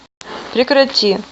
прекрати